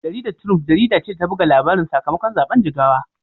Jaridar Triump jarida ce ta buga labarin sakamakon zaben Jigawa.